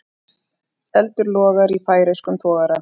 Eldur logar í færeyskum togara